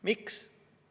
Miks?